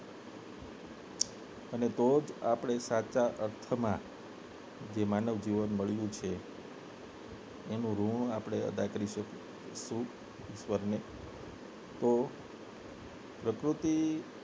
તો જ આપને સાચા અર્થમાં માનવ જીવન મળ્યું છે એનું ઋણ અદા કરી શકીશું ઈશ્વરને તો પ્રકૃતિ